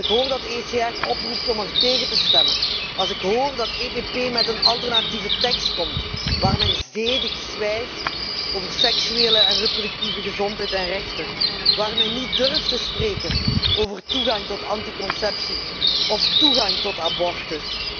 Als ik hoor dat ECR oproept om tegen dit verslag te stemmen, als ik hoor dat EPP met een alternatieve tekst komt, waar men zedig zwijgt over seksuele en reproductieve gezondheid en rechten, waar men niet durft spreken over toegang tot anticonceptie of toegang tot abortus.